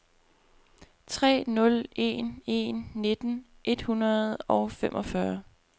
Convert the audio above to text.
tre nul en en nitten et hundrede og femogfyrre